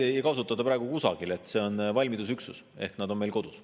Neid ei kasutata praegu kusagil, see on valmidusüksus ehk nad on meil kodus.